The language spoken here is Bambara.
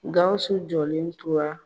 Gawusu jɔlen tora .